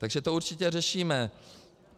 Takže to určitě řešíme.